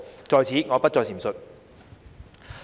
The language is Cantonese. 在此，我不再贅述。